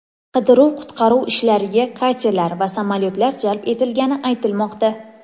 Qidiruv-qutqaruv ishlariga katerlar va samolyotlar jalb etilgani aytilmoqda.